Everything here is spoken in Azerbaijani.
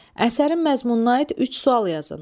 Əsərin məzmununa aid üç sual yazın.